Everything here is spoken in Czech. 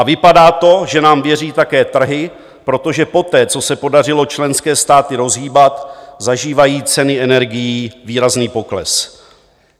A vypadá to, že nám věří také trhy, protože poté, co se podařilo členské státy rozhýbat, zažívají ceny energií výrazný pokles.